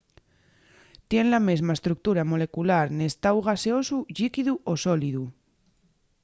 tien la mesma estructura molecular n’estáu gaseosu llíquidu o sólidu